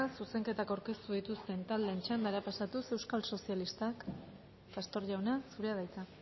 zuzenketak aurkeztu dituzten taldeen txandara pasatuz euskal sozialistak pastor jauna zurea da hitza